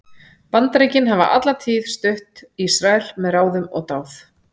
Bandaríkin hafa alla tíð stutt Ísrael með ráðum og dáð.